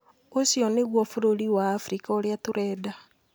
Ucio nĩguo bururi wa afrika uria tũrenda